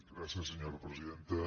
gràcies senyora presidenta